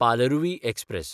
Palaruvi express